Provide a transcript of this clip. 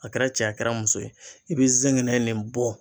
A kɛra cɛ ye a kɛra muso ye e be zɛgɛnɛ nin bɔ